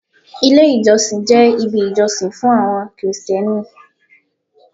Ilé ìjọsìn jẹ́ ibi ìjọsìn fún àwọn krìstẹ́nì.